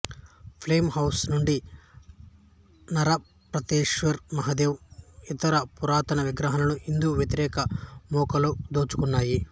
flame house నుండి నరపతేశ్వర్ మహాదేవ్ ఇతర పురాతన విగ్రహాలను హిందూ వ్యతిరేక మూకలు దోచుకున్నాయి